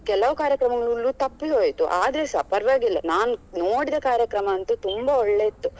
ಕೆಲವು ಕಾರ್ಯಕ್ರಮಗಳು ತಪ್ಪಿ ಹೋಯ್ತು ಆದರೆ ಸ ಪರ್ವಾಗಿಲ್ಲ ನಾನು ನೋಡಿದ ಕಾರ್ಯಕ್ರಮ ಅಂತೂ ತುಂಬಾ ಒಳ್ಳೆ ಇತ್ತು.